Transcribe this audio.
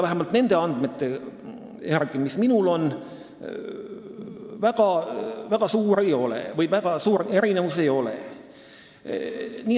Vähemalt nende andmete järgi, mis minul on, kulud ühe õpilase kohta väga erinevad ei ole.